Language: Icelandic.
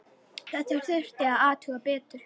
Þetta þurfti að athuga betur.